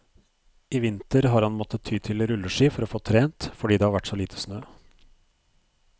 I vinter har han måttet ty til rulleski for å få trent, fordi det har vært så lite snø.